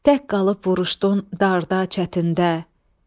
Tək qalıb vuruşdun darda, çətində.